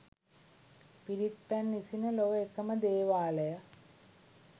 පිරිත් පැන් ඉසින, ලොව එක ම දේවාලය